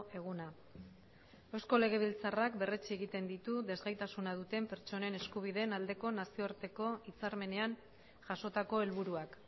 eguna eusko legebiltzarrak berretsi egiten ditu desgaitasuna duten pertsonen eskubideen aldeko nazioarteko hitzarmenean jasotako helburuak